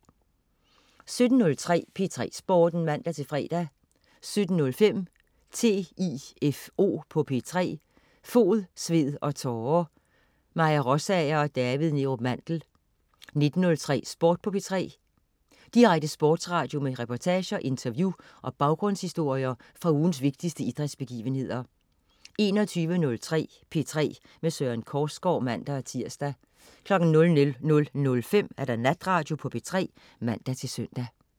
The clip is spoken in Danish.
17.03 P3 Sporten (man-fre) 17.05 TIFO på P3. Fod, sved og tårer. Maja Rosager og David Neerup Mandel 19.03 Sport på 3'eren. Direkte sportsradio med reportager, interview og baggrundshistorier fra ugens vigtigste idrætsbegivenheder 21.03 P3 med Søren Korsgaard (man-tirs) 00.05 Natradio på P3 (man-søn)